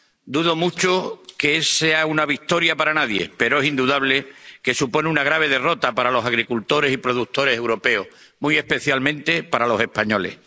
Dudo mucho que sea una victoria para nadie, pero es indudable que supone una grave derrota para los agricultores y productores europeos, muy especialmente para los españoles.